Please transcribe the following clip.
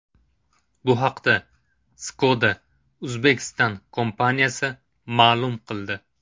Bu haqda Skoda Uzbekistan kompaniyasi ma’lum qildi .